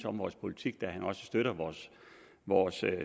om vores politik da han støtter vores vores